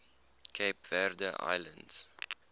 cape verde islands